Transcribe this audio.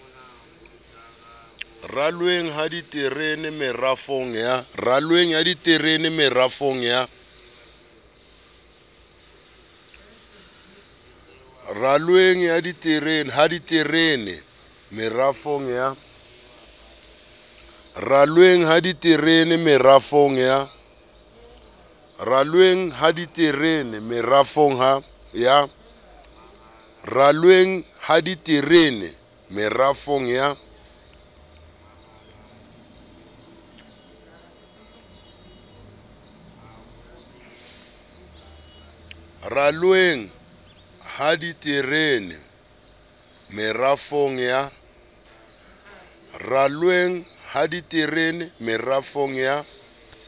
ralweng ha diterene merafong ya